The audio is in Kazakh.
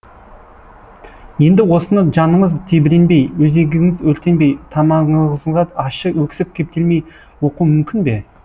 енді осыны жаныңыз тебіренбей өзегіңіз өртенбей тамағыңызға ащы өксік кептелмей оқу мүмкін бе